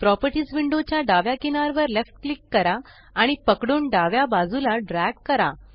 properties window च्या डाव्या किनार वर लेफ्ट क्लिक करा आणि पकडून डाव्या बाजूला ड्रॅग करा